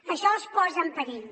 això els posa en perill